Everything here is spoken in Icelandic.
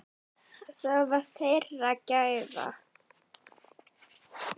Það var þeirra gæfa.